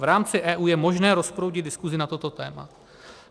V rámci EU je možné rozproudit diskusi na toto téma.